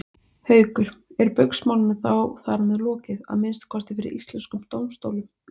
Haukur: Er Baugsmálinu þá þar með lokið, að minnsta kosti fyrir íslenskum dómstólum?